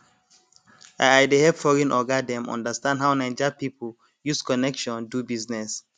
i i dey help foreign oga dem understand how naija people use connection do business